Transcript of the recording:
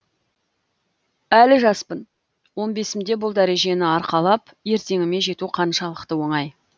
әлі жаспын он бесімде бұл дәрежені арқалап ертеңіме жету қаншалықты оңай